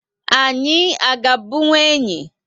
Anyị a ga bunkwu enyị?